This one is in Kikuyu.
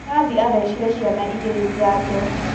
Nathi athecire ciana igĩrĩjanjo.